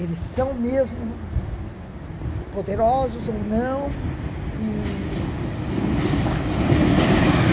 Eles são mesmo poderosos ou não e e partir para uma nova etapa.